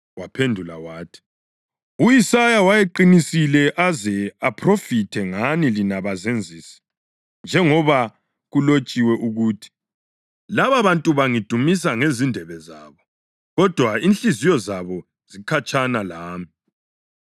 Waphendula wathi, “U-Isaya wayeqinisile aze aphrofithe ngani lina bazenzisi; njengoba kulotshiwe ukuthi: ‘Lababantu bangidumisa ngezindebe zabo, kodwa inhliziyo zabo zikhatshana lami.